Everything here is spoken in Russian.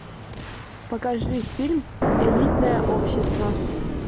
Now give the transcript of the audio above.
покажи фильм элитное общество